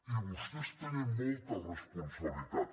i vostès tenen molta responsabilitat